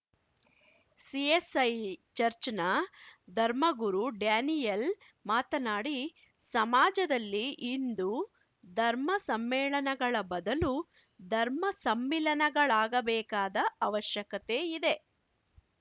CSI ಚರ್ಚ್ನ ಧರ್ಮಗುರು Daniel ಮಾತನಾಡಿ ಸಮಾಜದಲ್ಲಿ ಇಂದು ಧರ್ಮ ಸಮ್ಮೇಳನಗಳ ಬದಲು ಧರ್ಮ ಸಮ್ಮಿಲನಗಳಾಗಬೇಕಾದ ಅವಶ್ಯಕತೆ ಇದೆ